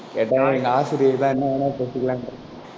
கேட்டா எங்க ஆசிரியர் தான் என்ன வேணாலும் பேசிக்கலாம்.